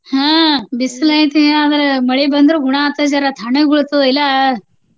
ಹ್ಮ ಬಿಸಲ್ ಐತಿ ಆದ್ರ ಮಳಿ ಬಂದ್ರ ಗುಣಾ ಆಗ್ತದ ಜರಾ ತಣ್ಣಗ ಬಿಳ್ತದ ಇಲ್ಲ.